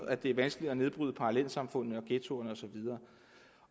at det er vanskeligt at nedbryde parallelsamfundene ghettoerne